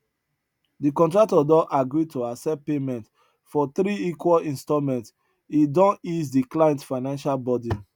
de contractor don agree to accept payment for three equal installments e don ease de client financial burden